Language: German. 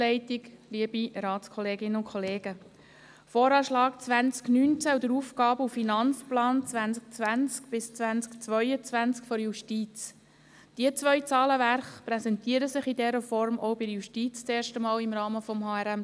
Zum VA 2019 und zum AFP 2020–2022 der Justiz: Diese beiden Zahlenwerke präsentieren sich in dieser Form auch bei der Justiz zum ersten Mal im Rahmen des HRM2.